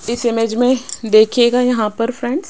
इस इमेज में देखिएगा यहां पर फ्रेंड --